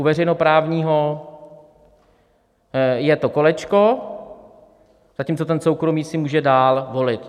U veřejnoprávního je to kolečko, zatímco ten soukromý si může dál volit.